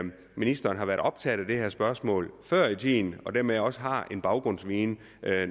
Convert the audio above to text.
ministeren har været optaget af det her spørgsmål før i tiden og dermed også har en baggrundsviden